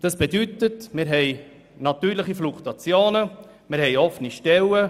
Das bedeutet, dass wir eine natürliche Fluktuation haben sowie offene Stellen.